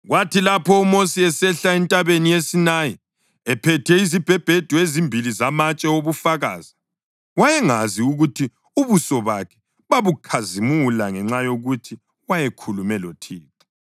Kwathi lapho uMosi esehla entabeni yeSinayi ephethe izibhebhedu ezimbili zamatshe obufakazi, wayengazi ukuthi ubuso bakhe babukhazimula ngenxa yokuthi wayekhulume loThixo.